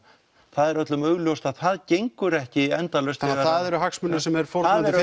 það er öllum augljóst að það gengur ekki endalaust þannig það eru hagsmunir sem er fórnað fyrir